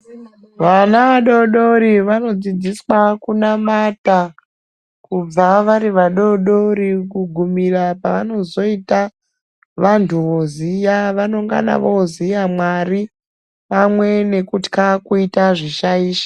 Vana vadodori vanodzidziswa kunamata kubva vari vadodori kugumira paanozoita vanthu voziya vanengana voziya Mwari pamwe nekutka kuita zvishaisho.